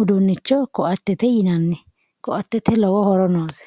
uduunnicho ko"atete yinanni koa"tete lowo horo noose.